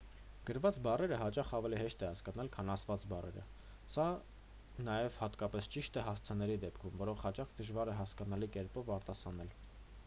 գրված բառերը հաճախ ավելի հեշտ է հասկանալ քան ասված բառերը նաև սա հատկապես ճիշտ է հասցեների դեպքում որոնք հաճախ դժվար է հասկանալի կերպով արտասանել